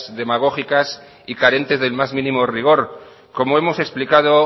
demagógicas y carentes del más mínimo rigor como hemos explicado